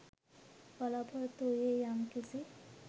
බලාපොරොත්තු වූයේ යම් කිසි